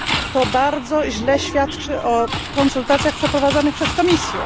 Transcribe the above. To bardzo źle świadczy o konsultacjach przeprowadzanych przez Komisję.